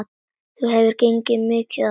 Það hefur gengið mikið á!